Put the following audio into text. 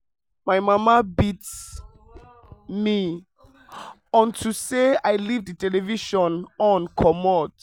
my mama beat me unto say i leave the television on comot